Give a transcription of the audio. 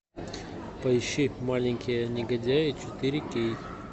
поищи маленькие негодяи четыре кей